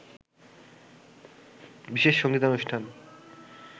বিশেষ সঙ্গীতানুষ্ঠান